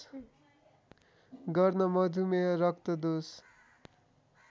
गर्न मधुमेह रक्तदोष